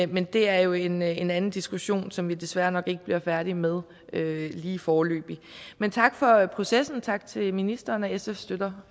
men det er jo en en anden diskussion som vi desværre nok ikke bliver færdige med lige foreløbig men tak for processen tak til ministeren og sf støtter